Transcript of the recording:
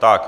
Tak.